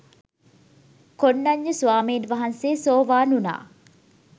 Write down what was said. කොණ්ඩඤ්ඤ ස්වාමීන් වහන්සේ සෝවාන් වුනා.